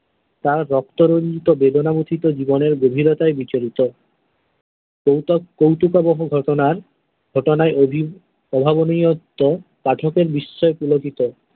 তার রক্ত রঞ্জিত বেদনা মুছিত জীবনের গভীরতায় বিরচিত কৌতুক কৌতুকাবহ ঘটনার ঘটনায় অভি অভাবনীয়ত্ব পাঠকের বিষয়ে পুলকিত।